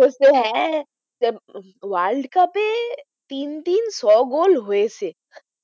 হচ্ছে হ্যাঁ যে উহ world cup এ তিন-তিন ছ গোল হয়েছে